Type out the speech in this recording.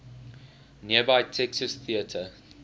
nearby texas theater